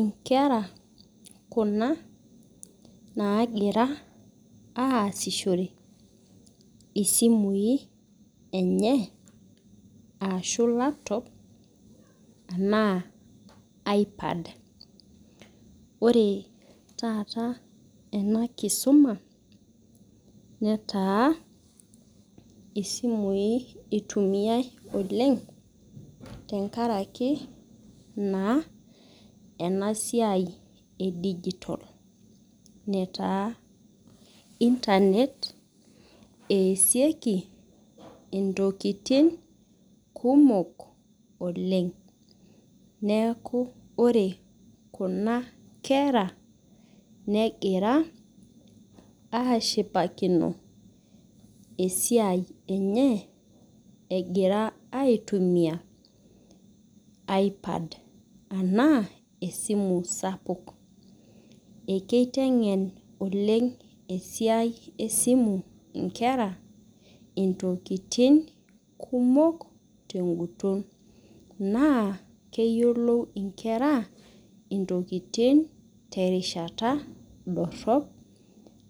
Inkera kuna nagira aasishore isimui enye ashu laptop ana aipad ore taata enakisuma netaa esimui itumiai oleng tenkaraki na enasiai e digital internet easiieki ntokitin kumok oleng neaku ore kuna kera negira aaashipakino esiai enye egira aitumia ipad anaa esimu sapuk ekitengen oleng esiai esimu nkera ntokitin kumok tenguton na keyiolou nkera ntoki tenguton na keyiolou nkera